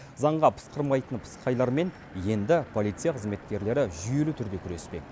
заңға пысқырмайтын пысықайлармен енді полиция қызметкерлері жүйелі түрде күреспек